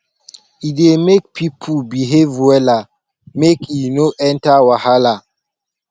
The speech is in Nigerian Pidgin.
e dey make people behave wella make e no enter wahala